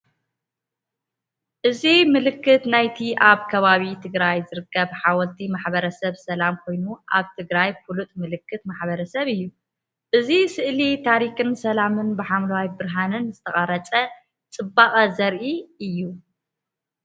እዚ ምልክት ናይቲ ኣብ ከባቢ ትግራይ ዝርከብ ሓወልቲ ማሕበረሰብ ሰላም ኮይኑ፡ ኣብ ትግራይ ፍሉጥ ምልክት ማሕበረሰብ እዩ። እዚ ስእሊ ታሪኽን ሰላምን፡ ብሓምላይን ብርሃንን ዝተቐርጸ ጽባቐ ዘርኢ እዩ።